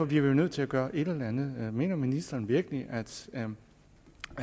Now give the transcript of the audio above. vi jo nødt til at gøre et eller andet mener ministeren virkelig